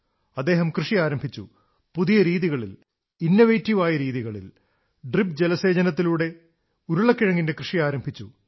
അദ്ദേഹം കൃഷി ആരംഭിച്ചു പുതിയരീതികളിൽ നവീനമായ രീതികളിൽ ഡ്രിപ് ജലസേചനത്തിലൂടെ ഉരുളക്കിഴങ്ങിന്റെ കൃഷി ആരംഭിച്ചു